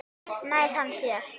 Nær hann sér?